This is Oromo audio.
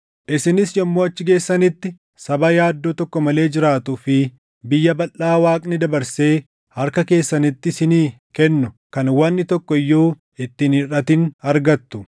Isinis yommuu achi geessanitti saba yaaddoo tokko malee jiraatuu fi biyya balʼaa Waaqni dabarsee harka keessanitti isinii kennu kan wanni tokko iyyuu itti hin hirʼatin argattu.”